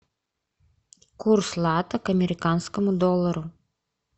курс лата к американскому доллару